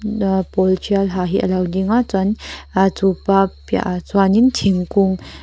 pawl tial ha hi alo ding a chuan ah chupa piah ah chuanin thingkung--